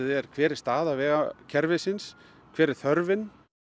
er hver er staða vegakerfisins hver er þörfin